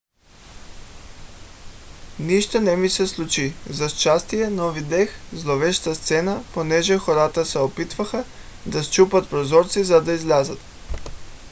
нищо не ми се случи за щастие но видях зловеща сцена понеже хората се опитваха да счупят прозорци за да излязат